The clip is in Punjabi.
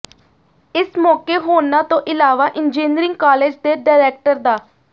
ਇਸ ਮੌਕੇ ਹੋਰਨਾਂ ਤੋਂ ਇਲਾਵਾ ਇੰਜੀਨੀਅਰਿੰਗ ਕਾਲਜ ਦੇ ਡਾਇਰੈਕਟਰ ਡਾ